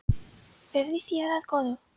Verði þér að góðu.